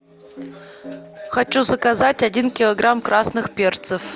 хочу заказать один килограмм красных перцев